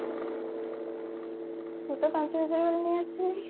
ମୁଁ ତ ପାଞ୍ଚହଜାର ବାଲା ନେଇ ଆସିଥିଲି